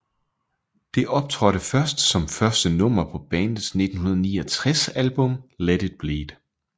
Det optrådte først som første nummer på bandets 1969 album Let It Bleed